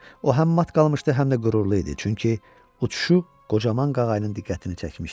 O həm mat qalmışdı, həm də qürurlu idi, çünki uçuşu qocaman qağayın diqqətini çəkmişdi.